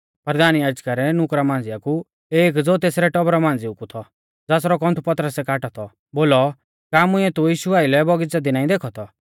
परधान याजका रै नुकरा मांझ़िया कु एक ज़ो तेसरै टौबरा मांझ़िऊ कु थौ ज़ासरौ कौन्थु पतरसै काटौ थौ बोलौ का मुंइऐ तू यीशु आइलै बौगीच़ै दी नाईं देखौ थौ